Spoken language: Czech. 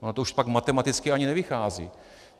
Ono to pak už matematicky ani nevychází.